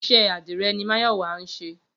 Iṣẹ́ àdìrẹ ni Máyọ̀wá ń ṣe